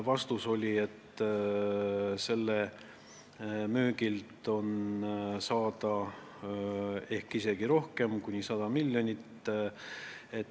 Vastus: selle müügist võib isegi rohkem saada – kuni 100 miljonit.